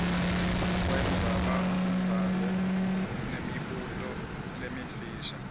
wendzabambhalo nemibuto lemifisha